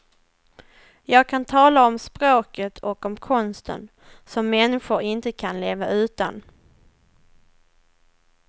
Jag kan tala om språket och om konsten, som människor inte kan leva utan.